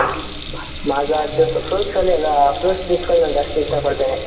mazza juice fruits ಅಲ್ಲಿ ಎಲ್ಲ fruits juice ಗಳು ತುಂಬಾ ಇಷ್ಟ ಪಡ್ತೀನಿ.